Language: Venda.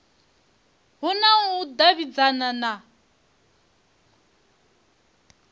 hu na u davhidzana na